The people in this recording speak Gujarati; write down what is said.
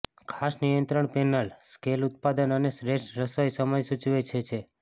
ખાસ નિયંત્રણ પેનલ સ્કેલ ઉત્પાદન અને શ્રેષ્ઠ રસોઈ સમય સૂચવે છે છે